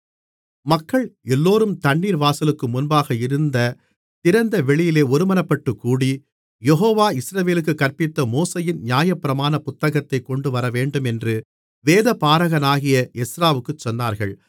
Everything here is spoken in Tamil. மக்கள் எல்லோரும் தண்ணீர் வாசலுக்கு முன்பாக இருந்த திறந்த வெளியிலே ஒருமனப்பட்டுக் கூடி யெகோவா இஸ்ரவேலுக்குக் கற்பித்த மோசேயின் நியாயப்பிரமாண புத்தகத்தைக் கொண்டுவரவேண்டுமென்று வேதபாரகனாகிய எஸ்றாவுக்குச் சொன்னார்கள்